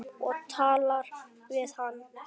Og talar við hann.